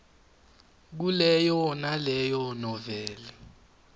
kuleyo naleyo noveli